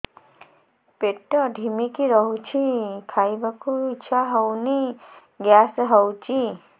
ପେଟ ଢିମିକି ରହୁଛି ଖାଇବାକୁ ଇଛା ହଉନି ଗ୍ୟାସ ହଉଚି